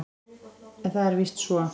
En það er víst svo.